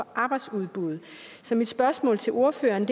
arbejdsudbuddet så mit spørgsmål til ordføreren